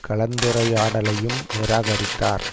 கலந்துரையாடலையும் நிராகரித்தார்